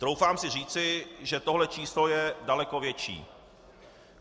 Troufám si říci, že tohle číslo je daleko větší.